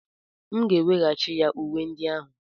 M ga-enyeghachi ya uwe ndị ahụ.